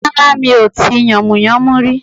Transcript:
Rárá mi ò tí yànmùyánmú rí